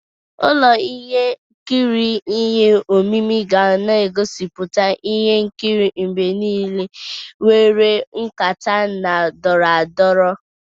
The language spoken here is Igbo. Ụlọ ihe nkiri ihe omimi ga na-egosiputa ihe nkiri mgbe niile nwere nkata na-adọrọ adọrọ.